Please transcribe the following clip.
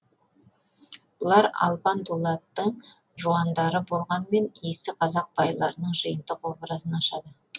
бұлар албан дулаттың жуандары болғанмен иісі қазақ байларының жиынтық образын ашады